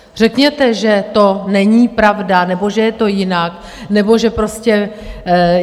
Řekněte, že to není pravda, nebo že je to jinak, nebo že prostě...